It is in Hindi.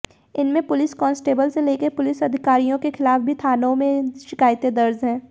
इनमें पुलिस कांस्टेबल से लेकर पुलिस अधिकारियों के खिलाफ भी थानों में शिकायतें दर्ज हैं